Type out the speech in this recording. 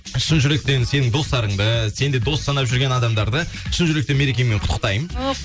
шын жүректен сенің достарыңды сен де дос санап жүрген адамдарды шын жүректен мерекеңмен құттықтаймын о